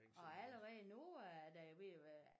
Og allerede nu er der jo ved at være